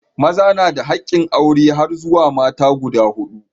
Maza na da hakkin aure har zuwa mata guda huɗu.